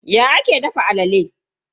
Ya ake dafa alala?